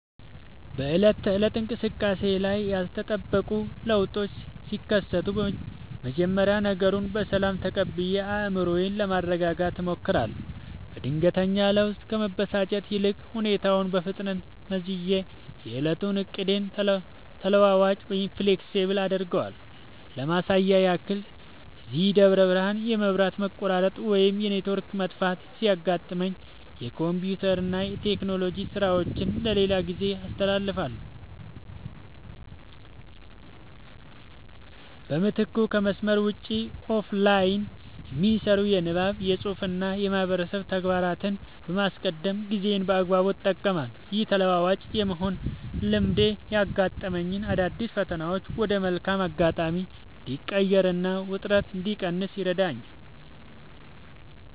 በዕለት ተዕለት እንቅስቃሴዬ ላይ ያልተጠበቁ ለውጦች ሲከሰቱ፣ መጀመሪያ ነገሩን በሰላም ተቀብዬ አእምሮዬን ለማረጋጋት እሞክራለሁ። በድንገተኛ ለውጥ ከመበሳጨት ይልቅ፣ ሁኔታውን በፍጥነት መዝኜ የዕለቱን ዕቅዴን ተለዋዋጭ (Flexible) አደርገዋለሁ። ለማሳያ ያህል፣ እዚህ ደብረ ብርሃን የመብራት መቆራረጥ ወይም የኔትወርክ መጥፋት ሲያጋጥመኝ፣ የኮምፒውተርና የቴክኖሎጂ ሥራዎቼን ለሌላ ጊዜ አስተላልፋለሁ። በምትኩ ከመስመር ውጭ (Offline) የሚሰሩ የንባብ፣ የፅሁፍ ወይም የማህበረሰብ ተግባራትን በማስቀደም ጊዜዬን በአግባቡ እጠቀማለሁ። ይህ ተለዋዋጭ የመሆን ልማዴ ያጋጠሙኝን አዳዲስ ፈተናዎች ወደ መልካም አጋጣሚ እንድቀይርና ውጥረት እንድቀንስ ይረዳኛል።